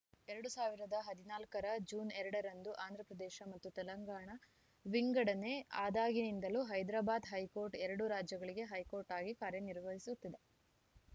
ಎರಡ್ ಸಾವಿರದ ಹದಿನಾಲ್ಕ ರ ಜೂನ್ ಎರಡ ರಂದು ಆಂಧ್ರ ಪ್ರದೇಶ ಮತ್ತು ತೆಲಂಗಾಣ ವಿಂಗಡನೆ ಆದಾಗಿನಿಂದಲೂ ಹೈದಾರಾಬಾದ್‌ ಹೈಕೋರ್ಟ್‌ ಎರಡೂ ರಾಜ್ಯಗಳಿಗೆ ಹೈಕೋರ್ಟ್‌ ಆಗಿ ಕಾರ್ಯನಿರ್ವಹಿಸುತ್ತಿದೆ